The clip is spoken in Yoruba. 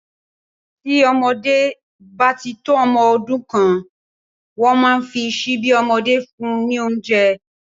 Tí ọmọ bá tí tó ọmọ ọdún kan, wọn a máa fi síbí ọmọdé fún un ní oúnjẹ